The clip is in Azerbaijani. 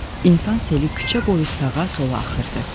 İnsan seli küçə boyu sağa-sola axırdı.